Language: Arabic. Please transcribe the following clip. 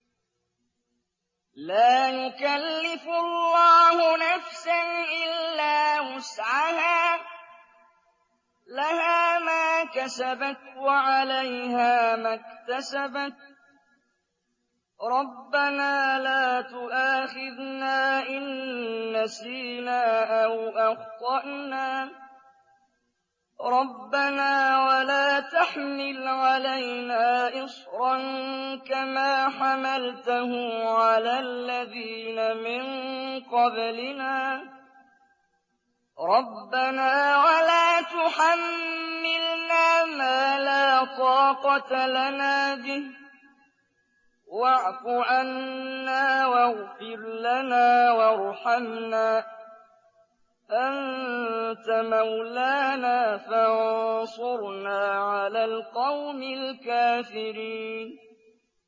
لَا يُكَلِّفُ اللَّهُ نَفْسًا إِلَّا وُسْعَهَا ۚ لَهَا مَا كَسَبَتْ وَعَلَيْهَا مَا اكْتَسَبَتْ ۗ رَبَّنَا لَا تُؤَاخِذْنَا إِن نَّسِينَا أَوْ أَخْطَأْنَا ۚ رَبَّنَا وَلَا تَحْمِلْ عَلَيْنَا إِصْرًا كَمَا حَمَلْتَهُ عَلَى الَّذِينَ مِن قَبْلِنَا ۚ رَبَّنَا وَلَا تُحَمِّلْنَا مَا لَا طَاقَةَ لَنَا بِهِ ۖ وَاعْفُ عَنَّا وَاغْفِرْ لَنَا وَارْحَمْنَا ۚ أَنتَ مَوْلَانَا فَانصُرْنَا عَلَى الْقَوْمِ الْكَافِرِينَ